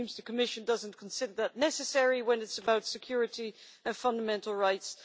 It seems the Commission does not consider that necessary when it is about security and fundamental rights.